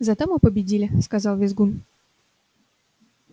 зато мы победили сказал визгун